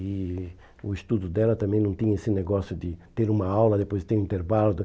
E o estudo dela também não tinha esse negócio de ter uma aula, depois ter um intervalo.